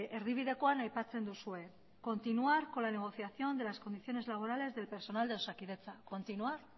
erdibidekoan aipatzen duzue continuar con la negociación de las condiciones laborales del personal de osakidetza continuar